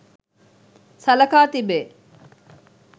සලකා තිබේ.